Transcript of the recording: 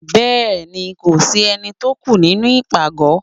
Béèni Ko si Eni tó o kù nínú ipágọ